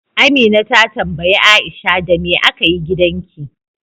Amina ta tambayi Aisha, Da me aka yi gidanki?